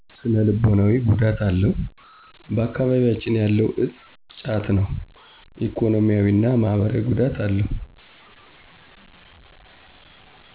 ስነልቦናዎ ጉዳት አለው ባአካቢቢያችን ያለው እፆ ጫት ነው። ኢኮኖሚያዊ እና ማህበራዊ ጉዳት አለው።